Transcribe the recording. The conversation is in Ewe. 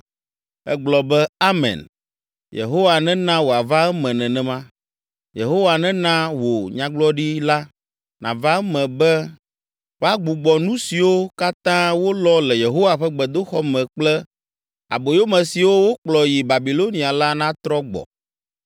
Egblɔ be, “Amen! Yehowa nena wòava eme nenema! Yehowa nena wò nyagblɔɖi la nava eme be woagbugbɔ nu siwo katã wolɔ le Yehowa ƒe gbedoxɔ me kple aboyome siwo wokplɔ yi Babilonia la natrɔ gbɔ.